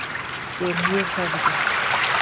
Ég er mjög hrærður.